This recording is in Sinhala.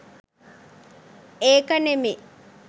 ඒක නෙමේ